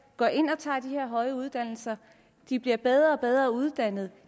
går ind og tager de her høje uddannelser og at de bliver bedre og bedre uddannede